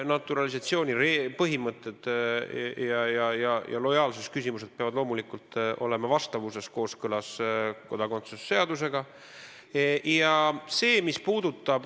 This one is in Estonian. Naturalisatsioonipõhimõtted ja lojaalsusküsimused peavad loomulikult olema vastavuses, kooskõlas kodakondsuse seadusega.